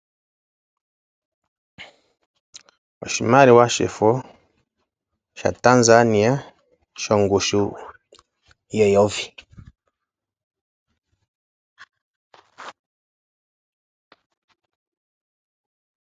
Oshimaliwa shefo sha Tanzania shongushu yeyovi.